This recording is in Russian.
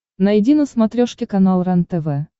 найди на смотрешке канал рентв